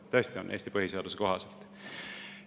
Ja tõesti on Eesti põhiseaduse kohaselt.